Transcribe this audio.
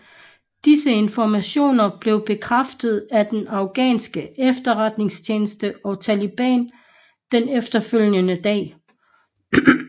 Disse informationer blev bekræftet af den afghanske efterretningstjeneste og Taliban den efterfølgende dag